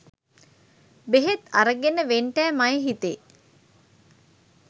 බෙහෙත් අරගෙන වෙන්ටෑ මයෙ හිතේ.